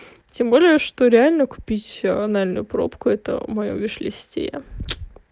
тем более что реально купить анальную пробку это моё вишлисте